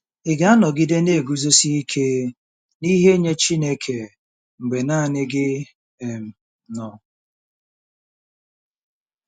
Ị̀ ga-anọgide na-eguzosi ike n'ihe nye Chineke mgbe nanị gị um nọ?